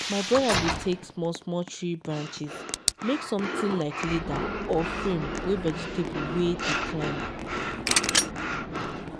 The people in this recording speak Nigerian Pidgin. my brother dey take small-small tree branches make something like ladder or frame wey vegetables wey dey climb